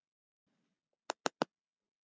Sólgerður, hvernig er veðrið í dag?